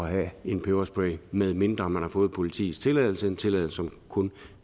at have en peberspray medmindre man har fået politiets tilladelse en tilladelse som kun